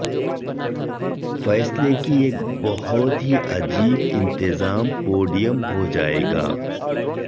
فیصلے کی ایک بہت ہی عجیب انتظام پوڈیم ہو جائے گا